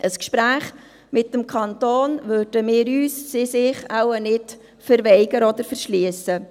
Einem Gespräch mit dem Kanton würden wir uns, würden sie sich, wohl nicht verweigern oder verschliessen.